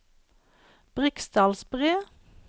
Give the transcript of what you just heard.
Briksdalsbre